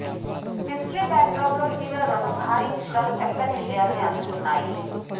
history బ్యాక్డ్రాప్లో ఇటీవల రెండు భారీ చిత్రాలు చక్కని విజయాల్ని అందుకున్నాయి